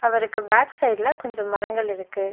அவருக்கு பேக் சைடுல கொஞ்சோ மரங்கள் இருக்கு.